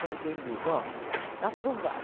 Como quem diz, ó, está aprovado.